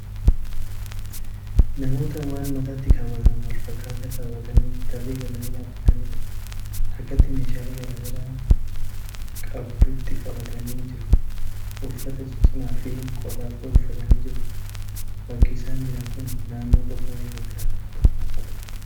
Namoota waan mataatti kaawwatamu wal fakkaataa kaawwatanii tarree galanii dhaabataniidha. harkatti meeshaalee garaa garaa qabduutti qabatanii jiru. Uffata ciccimaa fi qorraaf ta'u uffatanii jiru. Bakki isaan jiran kun naannoo qorraa wayii fakkkaata.